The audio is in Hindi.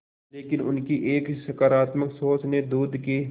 लेकिन उनकी एक सकरात्मक सोच ने दूध के